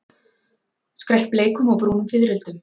Skreytt bleikum og brúnum fiðrildum.